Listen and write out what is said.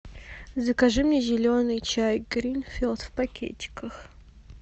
закажи мне зеленый чай гринфилд в пакетиках